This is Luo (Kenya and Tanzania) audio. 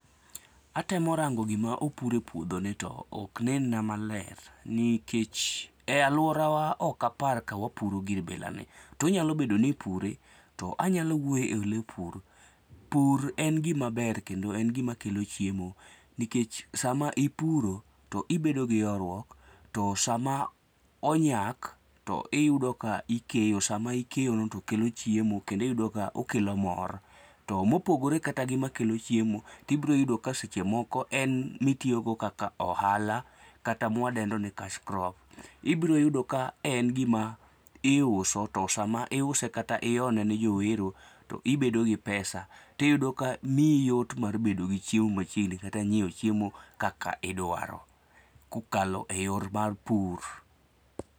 Atemo rango gima opur e puodho ni to ok nen na maler nikech e aluorawa ok apar kawapuro gir ilani tonyalo bedo ni ipure to anyalo wuoye pur, pur en gima ber kendo en gima kelo chiemo nikech sama ipuro to ibedo gi horruok. To sama onyak to iyudo ka ikeyo sama ikeyo no tokelo chiemo kendo iyudo ka okelo mor. To mopogore kata gi makelo chiemo ibiro yudo ka seche moko en miyo go kaka ohala kata mwadendo ni cash crop .Ibiro yudo ni en gima iuso to sama iuse kata ione ne jowero to ibedo gi pesa tiyudo ka miiyi yot mare bedo gi chiemo machiegni kata nyiewo chiemo kaka idwaro kokalo e yor mar pur.